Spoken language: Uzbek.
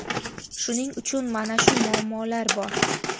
Shuning uchun mana shu muammolar bor.